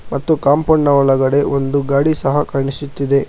ಮತ್ತು ಕಾಂಪೌಂಡ್ ನ ಒಳಗಡೆ ಒಂದು ಗಾಡಿ ಸಹ ಕಾಣಿಸುತ್ತಿದೆ.